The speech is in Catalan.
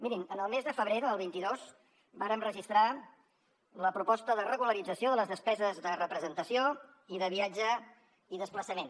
mirin el mes de febrer del vint dos vàrem registrar la proposta de regularització de les despeses de representació i de viatge i desplaçament